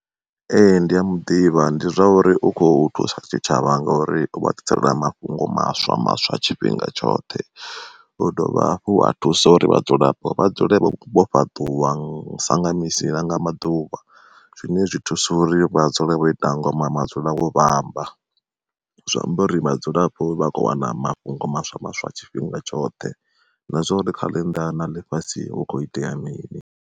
Ee ndi a muḓivha ndi zwa uri u kho thusa tshitshavha ngori ovha ḓi sela mafhungo maswa maswa tshifhinga tshoṱhe. U dovha hafhu a thusa uri vhadzulapo vha dzule vho fhaṱuwa sanga misi nanga maḓuvha, zwine zwi thusa uri vha dzule vho ita ngoma madzula wo vhamba. Zwiamba uri vhadzulapo vha kho wana mafhungo maswa maswa tshifhinga tshoṱhe, na zwa uri kha ḽinnḓa na ḽifhasi hu kho itea mini.